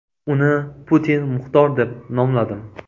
Uni Putin Muxtor deb nomladim.